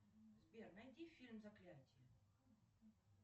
сбер найди фильм заклятье